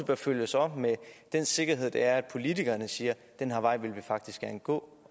bør følges op med den sikkerhed det er at politikerne siger at den her vej vil vi faktisk gerne gå